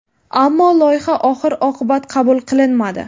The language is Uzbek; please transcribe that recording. Ammo loyiha oxir-oqibat qabul qilinmadi.